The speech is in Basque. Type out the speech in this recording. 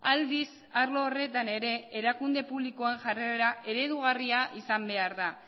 aldiz arlo horretan ere erakunde publikoen jarrera eredugarria izan behar da